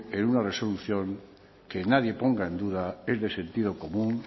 en una resolución que nadie ponga en duda es de sentido común